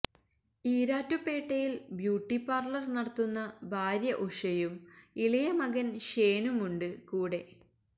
ഈരാറ്റുപേട്ടയില് beauty parlour നടത്തുന്ന ഭാര്യ ഉഷയും ഇളയമകന് ഷേനുമുണ്ട് കൂടെ